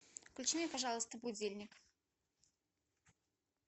включи мне пожалуйста будильник